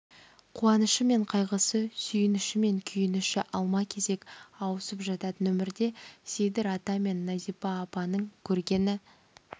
қуанышы мен қайғысы сүйініші мен күйініші алма-кезек ауысып жататын өмірде сейдір ата мен назипа атаның көргені